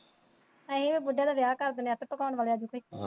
ਅਸੀਂ ਬੁੱਢੇ ਦਾ ਵਿਆਹ ਕਰ ਦੇਣਾ ਆਪੇ ਪਕਾਉਣ ਵਾਲੀ ਆਜੂਗੀ।